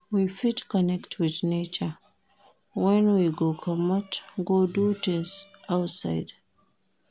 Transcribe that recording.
We fit connect with nature when we comot go do things outside